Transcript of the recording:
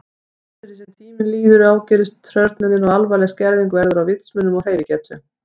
Eftir því sem tíminn líður ágerist hrörnunin og alvarleg skerðing verður á vitsmunum og hreyfigetu.